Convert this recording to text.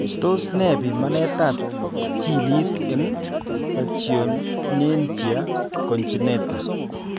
Tos mi pimanetab ginit eng' pachyonychia congenita?